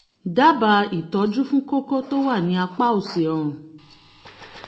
dábàá ìtọ́jú fún kókó tó wà ní apá òsì ọrùn